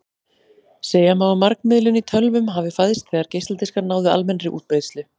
Segja má að margmiðlun í tölvum hafi fæðst þegar geisladiskar náðu almennri útbreiðslu.